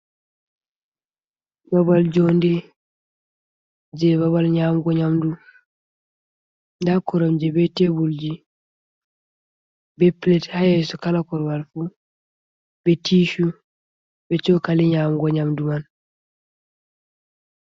Babal jonde je babal nyamgo nyamdu, nda koromje be teburji be pilet ha yeso, kala korowalfu be tishu be cokali nyamgo nyamdu man.